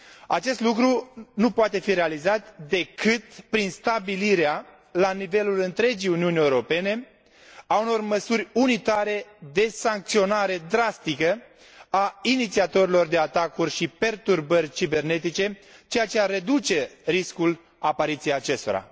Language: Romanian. Acest lucru nu poate fi realizat decât prin stabilirea, la nivelul întregii Uniuni Europene, a unor măsuri unitare de sancționare drastică a inițiatorilor de atacuri și perturbări cibernetice, ceea ce ar reduce riscul apariției acestora.